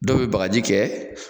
Dɔw be bagaji kɛ